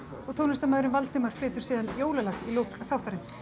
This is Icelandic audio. og tónlistarmaðurinn Valdimar flytur síðan jólalag í lok þáttarins